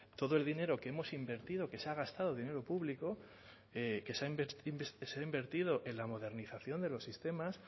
todo el dinero que hemos invertido que se ha gastado dinero público que se ha invertido en la modernización de los sistemas